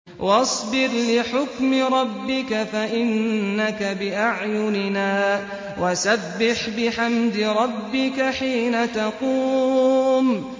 وَاصْبِرْ لِحُكْمِ رَبِّكَ فَإِنَّكَ بِأَعْيُنِنَا ۖ وَسَبِّحْ بِحَمْدِ رَبِّكَ حِينَ تَقُومُ